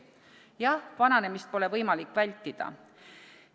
" Jah, vananemist pole võimalik vältida.